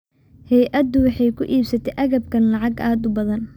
Hay’addu waxay ku iibsatay agabkan lacag aad u badan.